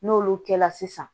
N'olu kɛla sisan